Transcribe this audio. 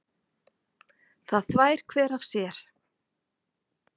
Það þvær hver af sér.